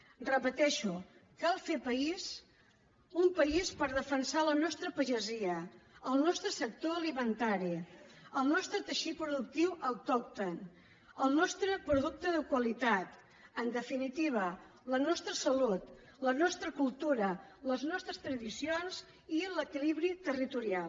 ho repeteixo cal fer país un país per defensar la nostra pagesia el nostre sector alimentari el nostre teixit productiu autòcton el nostre producte de qualitat en definitiva la nostra salut la nostra cultura les nostres tradicions i l’equilibri territorial